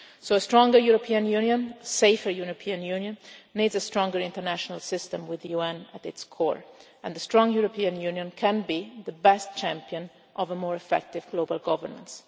system. A stronger European Union, a safer European Union, needs a stronger international system with the UN at its core, and the strong European Union can be the best champion of more effective global governance.